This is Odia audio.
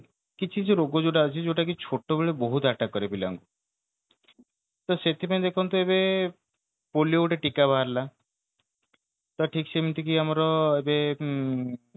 ଏମିତି କି କିଛି କିଛି ରୋଗ ଯୋଉଟା ହଉଛି ଯୋଉଟା କି ଛୋଟାବେଳେ ବହୁତ attack କରେ ପିଲାମାନଙ୍କୁ ତ ସେଇଥି ପାଇଁ ଦେଖନ୍ତୁ ଏବେ ପୋଲିଓ ଗୋଟେ ଟୀକା ବାହାରିଲା ପ୍ରାୟ ଠିକ ସେ ଏମିତି କି ଆମର ଉଁ